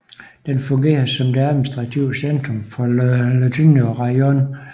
Den fungerer som det administrative centrum for Lutuhyne rajon